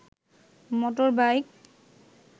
motor bike